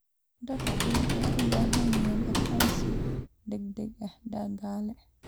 Dadku waxay u baahan yihiin aqoonsi dhaqdhaqaaq dhaqaale.